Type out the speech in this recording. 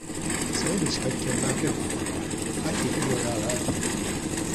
Sai da cikakkiyar lafiyar ƙwaƙwalwa ake iya yi wa yara tarbiyya